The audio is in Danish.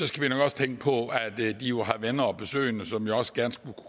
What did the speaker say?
skal vi nok også tænke på at de jo har venner og besøgende som også gerne skulle